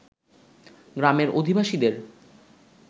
গ্রামের অধিবাসীদের